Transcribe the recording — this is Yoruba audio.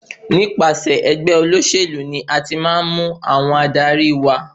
Nípasẹ̀ ẹgbẹ́ olóṣèlú ni a ti máa ń mú àwọn adarí wa.